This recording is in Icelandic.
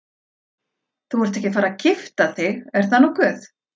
Þú ert ekki að fara að gifta þig, er það nokkuð?